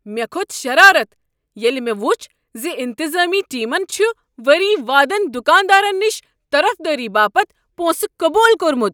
مےٚ كھوٚت شرارت ییٚلہ مےٚ وُچھ ز انتظامی ٹیمن چھ ؤری وادن دکاندارن نِش طرفدٲری باپتھ پونٛسہٕ قبوٗل کوٚرمت۔